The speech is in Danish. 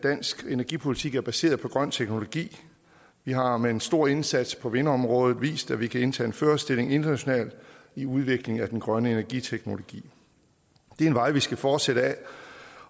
dansk energipolitik er baseret på grøn teknologi vi har med en stor indsats på vindområdet vist at vi kan indtage en førerstilling internationalt i udviklingen af den grønne energiteknologi det er en vej vi skal fortsætte ad